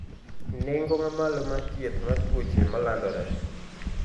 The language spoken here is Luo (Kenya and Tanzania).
nengo mamalo mar thieth mar tuoche malandore.